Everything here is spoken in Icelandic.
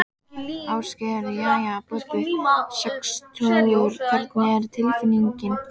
Ásgeir: Jæja Bubbi, sextugur hvernig er tilfinningin?